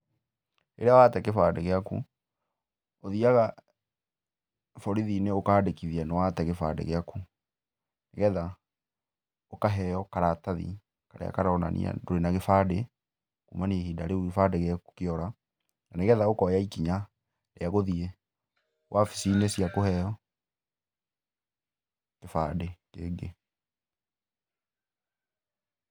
Rĩrĩa wate kĩbandĩ gĩaku ũthiaga borithinĩ ũkandĩkithia nĩwate gĩbandĩ gĩaku, nĩgetha ũkaheo karatathi karia karonania ndũrĩ na gĩbandĩ kũmania na hĩndĩ ĩyo gĩbandĩ gĩaku kĩora nĩgetha ũkonya ikinya rĩa gũthie wabicinĩ cia kũheo gĩbandĩ kĩngĩ.